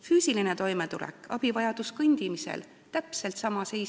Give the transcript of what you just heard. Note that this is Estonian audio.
Füüsiline toimetulek ehk abivajadus kõndimisel – täpselt sama seis.